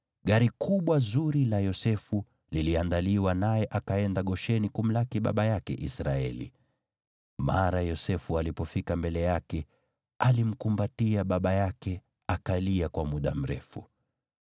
gari kubwa zuri la Yosefu liliandaliwa, naye akaenda Gosheni kumlaki baba yake Israeli. Mara Yosefu alipofika mbele yake, alimkumbatia baba yake, akalia kwa muda mrefu.